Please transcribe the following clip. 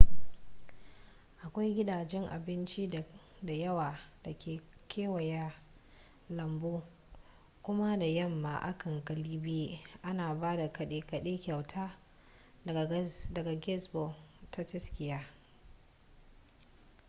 akwai gidajen abinci da yawa da ke kewaye da lambu kuma da yamma a can galibi ana ba da kade kade kyauta daga gazebo ta tsakiya